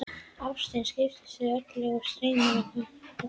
Ástin skiptir þau öllu og streymir á milli þeirra.